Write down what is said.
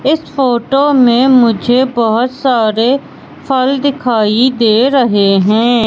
इस फोटो में मुझे बहोत सारे फल दिखाई दे रहे हैं।